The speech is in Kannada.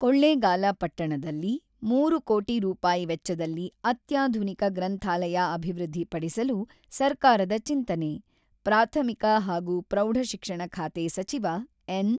"ಕೊಳ್ಳೇಗಾಲ ಪಟ್ಟಣದಲ್ಲಿ ಮೂರು ಕೋಟಿ ರೂಪಾಯಿ ವೆಚ್ಚದಲ್ಲಿ ಅತ್ಯಾಧುನಿಕ ಗ್ರಂಥಾಲಯ ಅಭಿವೃದ್ಧಿಪಡಿಸಲು ಸರ್ಕಾರದ ಚಿಂತನೆ"-ಪ್ರಾಥಮಿಕ ಹಾಗೂ ಪ್ರೌಢಶಿಕ್ಷಣ ಖಾತೆ ಸಚಿವ ಎನ್.